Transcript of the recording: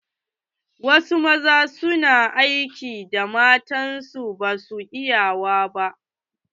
Wasu maza su na aikin da mata basu iyawa.